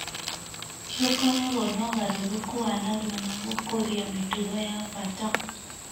nĩ ũkoragwo na ũgarũrũku wa narua na gũkũria mĩtugo ya bata.